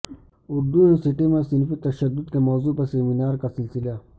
Urdu University میں صنفی تشدد کے موضوع پر ویبنارکا سلسلہ